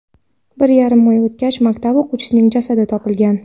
Bir yarim oy o‘tgach, maktab o‘quvchisining jasadi topilgan.